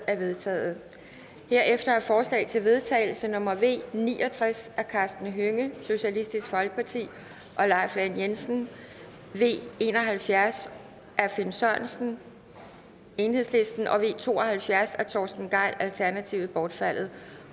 er vedtaget herefter er forslag til vedtagelse nummer v ni og tres af karsten hønge og leif lahn jensen v en og halvfjerds af finn sørensen og v to og halvfjerds af torsten gejl bortfaldet